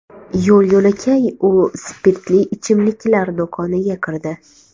Yo‘l-yo‘lakay u spirtli ichimliklar do‘koniga kirdi.